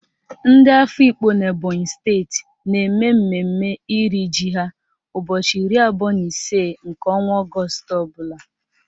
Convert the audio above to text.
Ndị Afikpo n'Ebonyi steeti na-eme mmemme iri ji ha ụbọchị iri abụọ na ise nke ọnwa Ọgọọst ọbụla